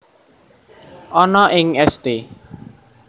Ana ing St